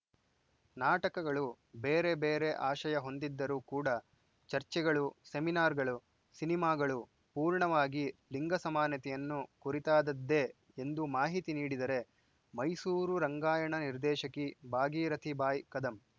ನಾಟಕಗಳು ಬೇರೆ ಬೇರೆ ಆಶಯ ಹೊಂದಿದ್ದರೂ ಕೂಡ ಚರ್ಚೆಗಳು ಸೆಮಿನಾರ್‌ಗಳು ಸಿನಿಮಾಗಳು ಪೂರ್ಣವಾಗಿ ಲಿಂಗ ಸಮಾನತೆಯನ್ನು ಕುರಿತಾದ್ದದ್ದೇ ಎಂದು ಮಾಹಿತಿ ನೀಡಿದರೆ ಮೈಸೂರು ರಂಗಾಯಣ ನಿರ್ದೇಶಕಿ ಭಾಗಿರಥಿ ಬಾಯ್‌ ಕದಂ